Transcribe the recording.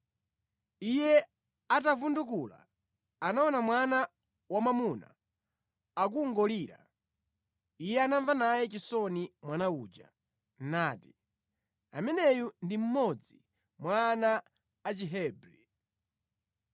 Iye atavundukula anaona mwana wamwamuna akungolira. Iye anamva naye chisoni mwana uja, nati, “Ameneyu ndi mmodzi mwa ana a Chihebri.”